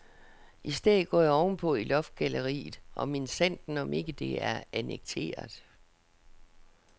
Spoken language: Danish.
I stedet går jeg ovenpå i loftgalleriet, og minsandten om ikke også det er annekteret.